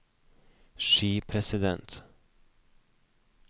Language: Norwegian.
skipresident